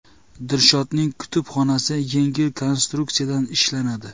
Dilshodning kutubxonasi yengil konstruksiyadan ishlanadi.